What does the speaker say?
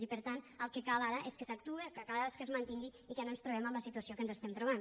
i per tant el que cal ara és que s’actue el que cal és que es mantingui i que no ens trobem amb la situació que ens estem trobant